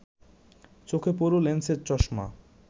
চোখে পুরু লেন্সের চশমা